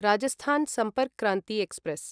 Rajasthan Sampark Kranti express